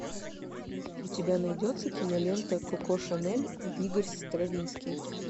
у тебя найдется кинолента коко шанель и игорь стравинский